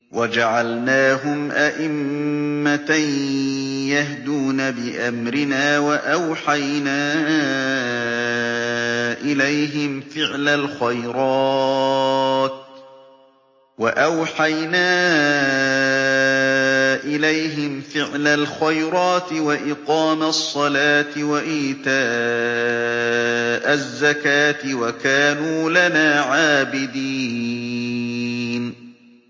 وَجَعَلْنَاهُمْ أَئِمَّةً يَهْدُونَ بِأَمْرِنَا وَأَوْحَيْنَا إِلَيْهِمْ فِعْلَ الْخَيْرَاتِ وَإِقَامَ الصَّلَاةِ وَإِيتَاءَ الزَّكَاةِ ۖ وَكَانُوا لَنَا عَابِدِينَ